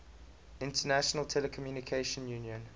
international telecommunication union